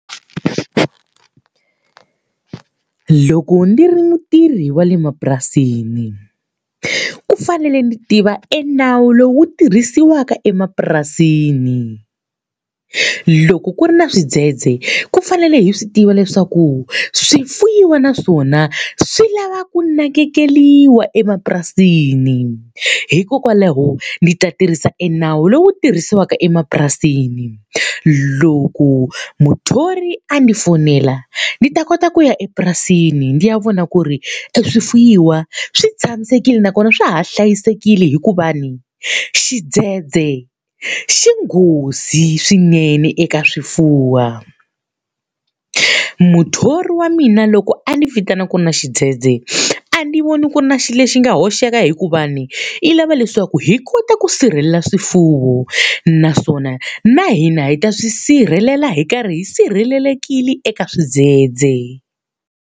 Loko ni ri mutithi wa le mapurasini, ku fanele ni tiva e nawu lowu tirhisiwaka emapurasini. Loko ku ri na swidzhedzhe, ku fanele hi swi tiva leswaku swi fuwiwa na swona swi lava ku nakekeriwa emapurasini. Hikokwalaho ndzi ta tirhisa e nawu lowu tirhisiwaka emapurasini. Loko muthori a ndzi fonela ni ta kota ku ya epurasini ndzi ya vona ku ri swifuwiwa swi tshamisekile nakona swa ha hlayisekile hikuva ni, xidzedze xi nghozi swinene eka swifuwo. Muthori wa mina loko a ni vitana ku ri na xidzedze, a ndzi voni ku ri na xilo lexi nga hoxeka hikuva ni u lava leswaku hi kota ku sirhelela swifuwo, naswona na hina hi ta swi sirhelela hi karhi hi sirhelelekile eka xidzedze.